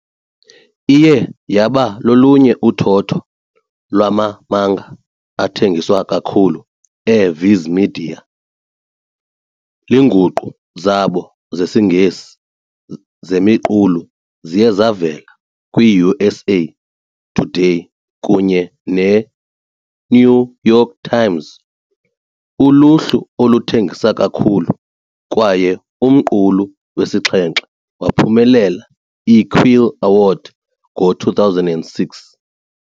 Iye yaba lolunye uthotho lwama-manga athengiswa kakhulu eViz Media, Iinguqu zabo zesiNgesi zemiqulu ziye zavela kwi-USA Today kunye ne-New York Times uluhlu oluthengisa kakhulu, kwaye umqulu wesixhenxe waphumelela i-Quill Award ngo-2006.